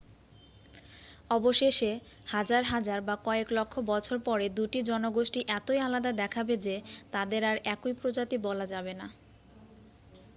অবশেষে হাজার হাজার বা কয়েক লক্ষ বছর পরে দুটি জনগোষ্ঠী এতই আলাদা দেখাবে যে তাদের আর একই প্রজাতি বলা যাবে না